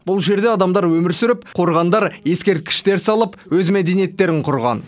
бұл жерде адамдар өмір сүріп қорғандар ескерткіштер салып өз мәдениеттерін құрған